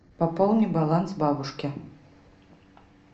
пополни баланс бабушке